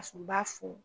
A sɔrɔ u b'a fɔ